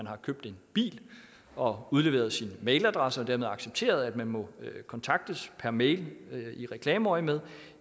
har købt en bil og udleveret sin mailadresse og dermed accepteret at man må kontaktes per mail i reklameøjemed